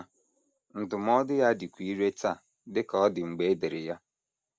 Ma, ndụmọdụ ya dịkwa irè taa dị ka ọ dị mgbe e dere ya.